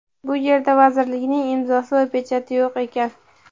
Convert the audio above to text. bu yerda vazirlikning imzosi va pechati yo‘q ekan.